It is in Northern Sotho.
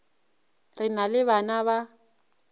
re na le bana ba